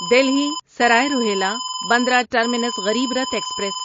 Delhi Sarai Rohilla Bandra terminus Garib Rath express